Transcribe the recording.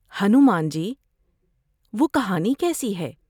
ہنومان جی وہ کہانی کیسی ہے ؟